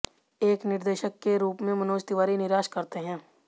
एक निर्देशक के रूप में मनोज तिवारी निराश करते हैं